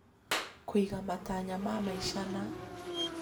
Kũiga matanya ma maica na